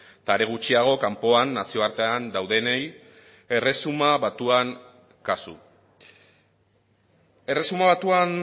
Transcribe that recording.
eta are gutxiago kanpoan nazioartean daudenei erresuma batuan kasu erresuma batuan